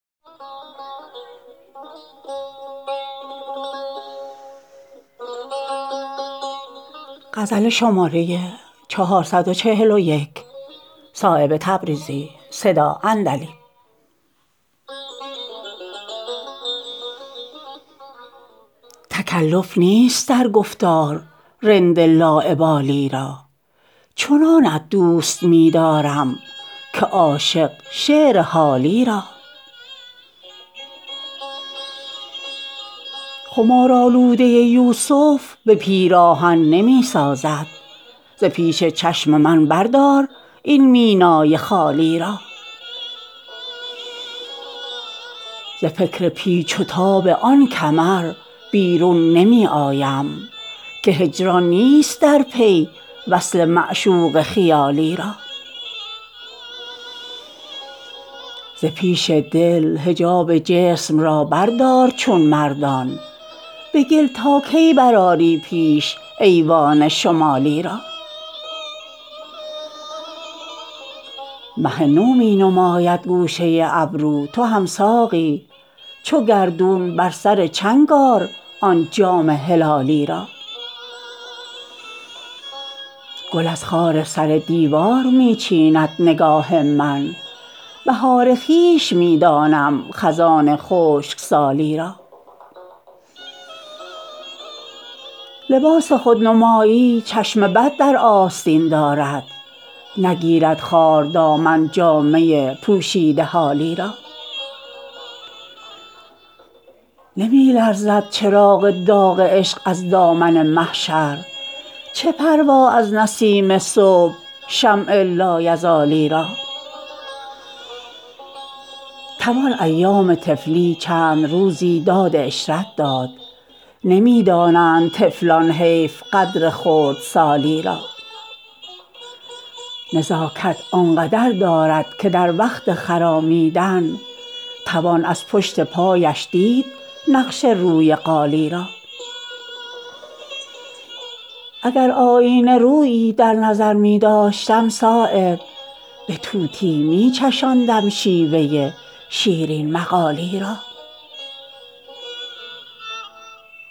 تکلف نیست در گفتار رند لاابالی را چنانت دوست می دارم که عاشق شعر حالی را خمارآلوده یوسف به پیراهن نمی سازد ز پیش چشم من بردار این مینای خالی را ز فکر پیچ و تاب آن کمر بیرون نمی آیم که هجران نیست در پی وصل معشوق خیالی را ز پیش دل حجاب جسم را بردار چون مردان به گل تا کی برآری پیش ایوان شمالی را مه نو می نماید گوشه ابرو تو هم ساقی چو گردون بر سر چنگ آر آن جام هلالی را گل از خار سر دیوار می چیند نگاه من بهار خویش می دانم خزان خشکسالی را لباس خودنمایی چشم بد در آستین دارد نگیرد خار دامن جامه پوشیده حالی را نمی لرزد چراغ داغ عشق از دامن محشر چه پروا از نسیم صبح شمع لایزالی را توان ایام طفلی چند روزی داد عشرت داد نمی دانند طفلان حیف قدر خردسالی را نزاکت آنقدر دارد که در وقت خرامیدن توان از پشت پایش دید نقش روی قالی را اگر آیینه رویی در نظر می داشتم صایب به طوطی می چشاندم شیوه شیرین مقالی را